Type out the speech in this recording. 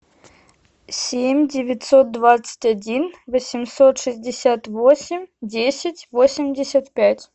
семь девятьсот двадцать один восемьсот шестьдесят восемь десять восемьдесят пять